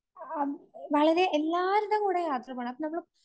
ആഹ് എല്ലാവരുടെയും കൂടെ യാത്ര പോകണം. നമ്മള്